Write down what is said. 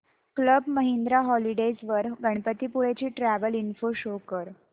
club Mahindra holidays वर गणपतीपुळे ची travel info show कर